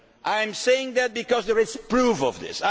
I am saying it because there is proof of this.